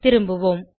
திரும்புவோம்